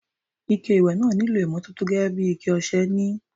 Ike ìwẹ̀ náà nílò ìmọ́tótó gẹ́gẹ́ bí iké ọṣẹ ni.